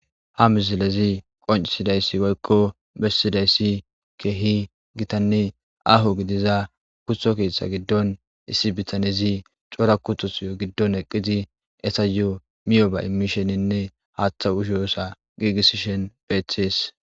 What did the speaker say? Ha misileza qoncisidays woykko besidays keeh gitanne aho gidida kuto ketha gidon issi bitanez cora kutota gidon eqid etayo miyoba imishinine etayo hata gigisishn betes.